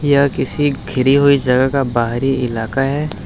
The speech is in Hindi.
यह किसी घिरी हुई जगह का बाहरी इलाका है।